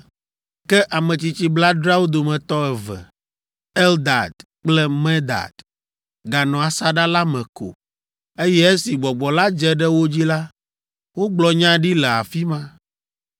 Ke ametsitsi blaadreawo dometɔ eve, Eldad kple Medad, ganɔ asaɖa la me ko, eye esi gbɔgbɔ la dze ɖe wo dzi la, wogblɔ nya ɖi le afi ma.